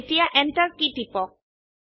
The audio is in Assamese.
এতিয়া এন্টাৰ কী টিপক